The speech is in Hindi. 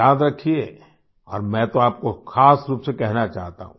याद रखिएऔर मैं तो आपको ख़ास रूप से कहना चाहता हूँ